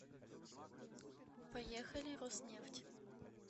поехали роснефть